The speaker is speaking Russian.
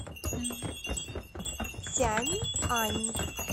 цяньань